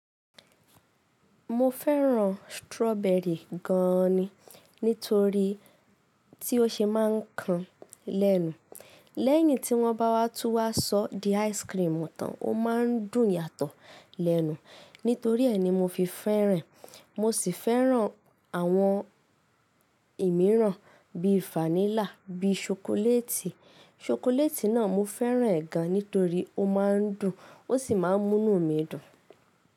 Mo fẹ́ràn strawberry gan ni nítorí tí ó ṣe máa ń kan lẹ́nu. Lẹ́yìn tí wọ́n bá wá tú wá sọ di ice cream tán, ó ma ń dùn yàtọ̀ lẹ́nu. Nítorí ẹ ni mo fi fẹ́ràn e, mo sì fẹ́ràn àwọn ìmíràn bíi vanilla, bí i ṣokoléètì. Ṣokoléètì náà mo fẹ́ràn gan nítorí ó ma ń dùn, ó sì máa ń múnú mi dùn.